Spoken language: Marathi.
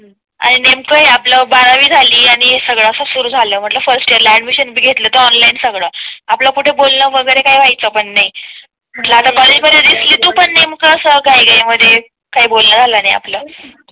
आणि नेमकाही आपलं बारावी झाली आणि सगळे अस सुरू झाल म्हणल फर्स्ट इयर ला ऍडमिशन घेतलं ऑनलाईन सगळं आपलं कुठे बोललं वगैरे काय व्हायचं पण नाही म्हणल आता कॉलेज दिसली तू पण नेमकं असं घाई घाई मधे काही बोलणं झालं नाही